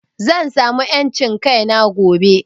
Zan samu en cin kaina gobe